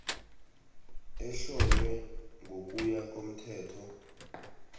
ehlonywe ngokuya komthetho